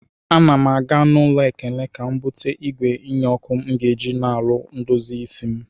Ana m aga n'ụlọ Ekene ka m bute igwe nye ọkụ m ga-eji n'ụlọ ndozi isi m.